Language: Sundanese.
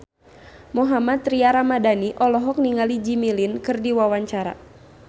Mohammad Tria Ramadhani olohok ningali Jimmy Lin keur diwawancara